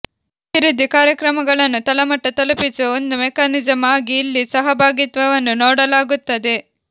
ಅಭಿವೃದ್ಧಿ ಕಾರ್ಯಕ್ರಮಗಳನ್ನು ತಳಮಟ್ಟ ತಲುಪಿಸುವ ಒಂದು ಮೆಕಾನಿಸಮ್ ಆಗಿ ಇಲ್ಲಿ ಸಹಭಾಗಿತ್ವವನ್ನು ನೋಡಲಾಗುತ್ತದೆ